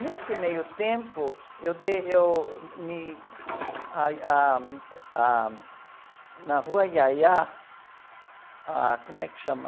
Nesse meio tempo, eu dei... Eu, me, ah, ah, ah, na Rua Yayá, ah, como é que chama?